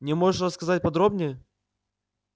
не можешь рассказать подробнее